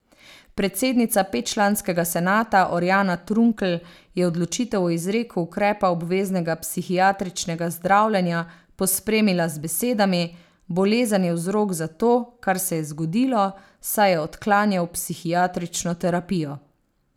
Predsednica petčlanskega senata Orjana Trunkl je odločitev o izreku ukrepa obveznega psihiatričnega zdravljenja pospremila z besedami: "Bolezen je vzrok za to, kar se je zgodilo, saj je odklanjal psihiatrično terapijo.